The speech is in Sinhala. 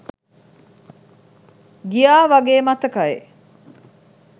ගියා වගේ මතකයි